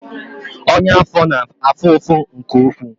Ọnyá afọ na afụ afụ nke ụkwụ